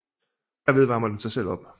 Herved varmer den sig selv op